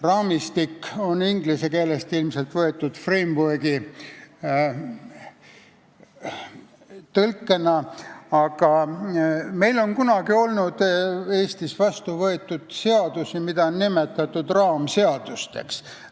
"Raamistik" on ilmselt inglise keelest võetud framework'i tõlkena, aga meil Eestis on kunagi olnud vastuvõetud seadusi, mida on nimetatud raamseadusteks.